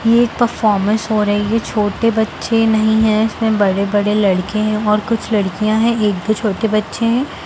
ये परफॉरमेंस हो रही है छोटे बच्चे नहीं हैं इसमें बड़े-बड़े लड़के हैं और कुछ लड़कियां हैं एक दो छोटे बच्चे हैं।